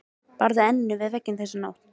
Barði enninu í vegginn þessa nótt.